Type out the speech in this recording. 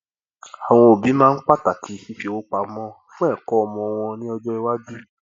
àwọn òbí máa ń pàtàkì fífi owó pamọ fún ẹkọ ọmọ wọn ní ọjọ iwájú